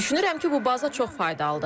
Düşünürəm ki, bu baza çox faydalıdır.